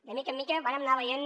de mica en mica vàrem anar veient